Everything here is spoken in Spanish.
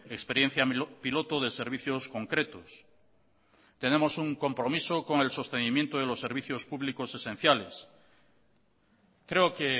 experiencia piloto de servicios concretos tenemos un compromiso con el sostenimiento de los servicios públicos esenciales creo que